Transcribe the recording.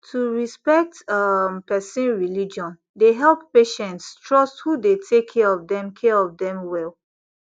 to respect um person religion dey help patients trust who dey take care of them care of them well